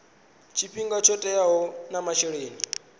tshifhinga tsho teaho na masheleni